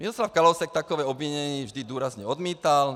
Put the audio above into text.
Miroslav Kalousek takové obvinění vždy důrazně odmítal.